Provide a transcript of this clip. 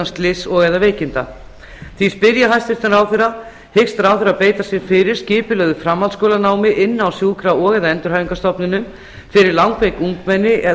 slyss og eða veikinda því spyr ég hæstvirtan ráðherra hyggst ráðherra beita sér fyrir skipulögðu framhaldsskólanámi inni á sjúkra og eða endurhæfingarstofnunum fyrir langveik ungmenni eða